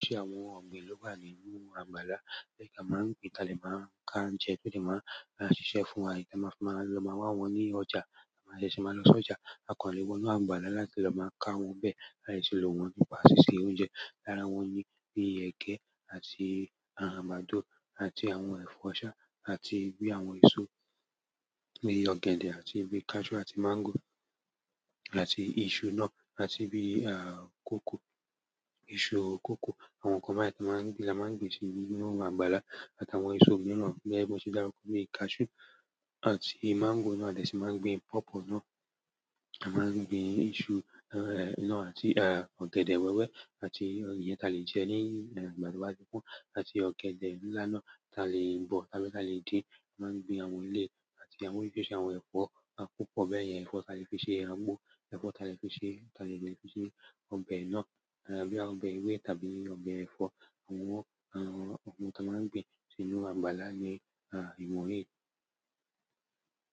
Ṣe àwọn ọ̀gbìn ló wà nínú àgbàlá tí a máa ń gbin, ta lè máa ń ka jẹ, tó lè máa ń ṣiṣẹ́ fún wa, tí a máa fi máa lọ máa wá wọn ní ọjà, a lè ṣe máa lọ sójà, a kò lè gbọnú àgbàlá láti lọ máa ka wọn bẹ́ẹ̀, a lè ṣe lò wọ́n nípa ṣíṣe oúnjẹ. Lára wọn ni bí i ẹgẹ àti àgbàdo àti àwọn ẹ̀fọ́ ṣá, àti bí i àwọn èso bí i ọ̀gẹ̀dẹ̀ àti bí i cashew àti máńgò àti iṣu náà àti bí i àkókò, iṣu kókò, àwọn nǹkan bẹ́ẹ̀ tí a máa ń gbin la máa ń gbin sí inú àgbàlá àtàwọn èso míràn gẹ́gẹ́ bí mo ṣe dárúkọ, bíiicashew àti máńgò náà, a lè ṣe máa gbin pọ́pọ̀ náà, a máa ń gbin iṣu náà àti ọ̀gẹ̀dẹ̀ wẹ́wẹ́ àti ìyẹn ta lè jẹ ní ìgbà tó bá ti pọ́n, àti ọ̀gẹ̀dẹ̀ ńlá náà ta lè bọ̀ tàbí ta lè dín. A máa ń gbin àwọn ilé àti àwọn irúṣíṣí àwọn ẹ̀fọ́, a kún pọ̀ bẹ́ẹ̀, ìyẹn ẹ̀fọ́ ta lè fi ṣe àgbo, ẹ̀fọ́ ta lè fi ṣe, ta lè jẹ́ fi ṣe ọbẹ̀ náà, àbí ọbẹ̀ ewé tàbí ọbẹ̀ ẹ̀fọ́. Àwọn àwọn nǹkan tí a máa ń gbin sí inú àgbàlá ní wọ̀nyí.